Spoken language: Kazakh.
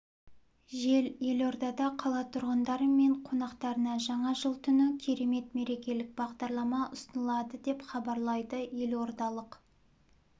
жел елордада қала тұрғындары мен қонақтарына жаңа жыл түні керемет мерекелік бағдарлама ұсынылады деп хабарлайды елордалық